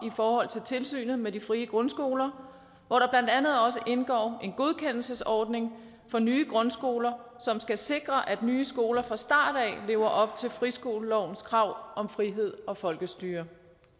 i forhold til tilsynet med de frie grundskoler hvor der blandt andet også indgår en godkendelsesordning for nye grundskoler som skal sikre at nye skoler fra start af lever op til friskolelovens krav om frihed og folkestyre